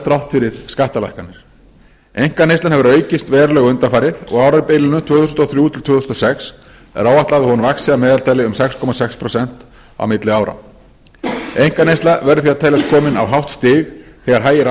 þrátt fyrir skattalækkanir einkaneyslan hefur aukist verulega undanfarið og á árabilinu tvö þúsund og þrjú til tvö þúsund og sex er áætlað að hún vaxi að meðaltali um sex komma sex prósent milli ára einkaneysla verður því að teljast komin á hátt stig þegar hægir